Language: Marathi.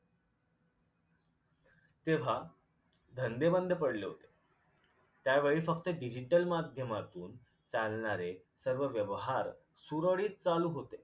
तेव्हा धंदे बंद पडले होते त्यावेळी फक्त digital माध्यमातून चालणारे सर्व व्यवहार सुरळीत चालू होते